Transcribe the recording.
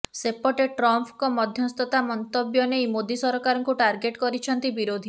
ସେପଟେ ଟ୍ରମ୍ପଙ୍କ ମଧ୍ୟସ୍ଥତା ମନ୍ତବ୍ୟ ନେଇ ମୋଦି ସରକାରକୁ ଟାର୍ଗେଟ୍ କରିଛନ୍ତି ବିରୋଧୀ